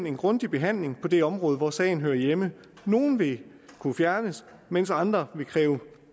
en grundig behandling på det område hvor sagen hører hjemme nogle vil kunne fjernes mens andre vil kræve